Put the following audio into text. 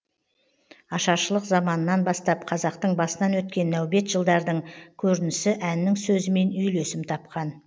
ашаршылық заманнан бастап қазақтың басынан өткен нәубет жылдардың көрінісі әннің сөзімен үйлесім тапқан